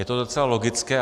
Je to docela logické.